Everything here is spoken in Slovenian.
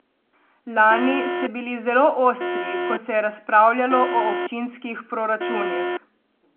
Lani ste bili zelo ostri, ko se je razpravljalo o občinskih proračunih.